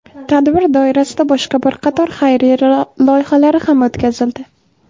Tadbir doirasida boshqa bir qator xayriya loyihalari ham o‘tkazildi.